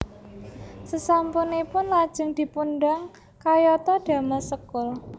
Sesampun ipun lajeng dipundang kayata damel sekul